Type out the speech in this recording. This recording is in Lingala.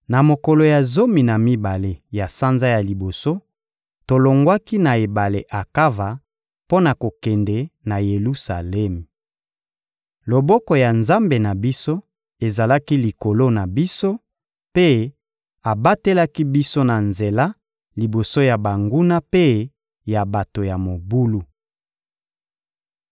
Na mokolo ya zomi na mibale ya sanza ya liboso, tolongwaki na ebale Akava mpo na kokende na Yelusalemi. Loboko ya Nzambe na biso ezalaki likolo na biso, mpe abatelaki biso na nzela liboso ya banguna mpe ya bato ya mobulu.